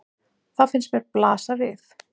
Það finnst mér blasa við.